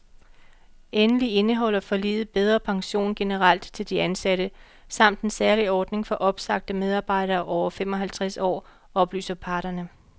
Endelig indeholder forliget bedre pension generelt til de ansatte samt en særlig ordning for opsagte medarbejdere over fem og halvtreds år, oplyser parterne.